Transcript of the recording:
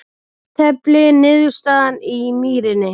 Jafntefli niðurstaðan í Mýrinni